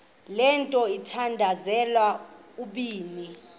le mithandazo mibini